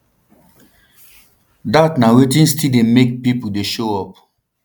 dat na wetin still dey make pipo dey show up